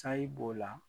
Sayi b'o la